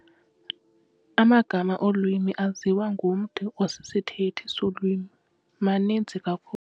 Amagama olwimi aziwa ngumntu osisithethi solwimi maninzi kakhulu.